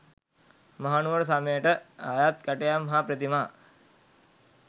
මහනුවර සමයට අයත් කැටයම් හා ප්‍රතිමා